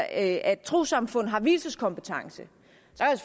at trossamfund har vielseskompetence